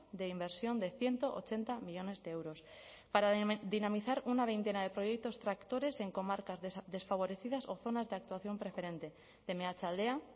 de inversión de ciento ochenta millónes de euros para dinamizar una veintena de proyectos tractores en comarcas desfavorecidas o zonas de actuación preferente de meatzaldea